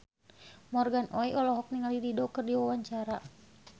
Morgan Oey olohok ningali Dido keur diwawancara